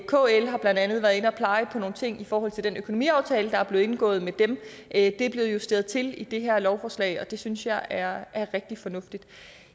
kl har blandt andet peget på nogle ting i forhold til den økonomiaftale der blev indgået med dem det er blevet justeret til i det her lovforslag og det synes jeg er rigtig fornuftigt